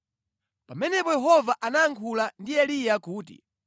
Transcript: Pamenepo Yehova anayankhula ndi Eliya kuti,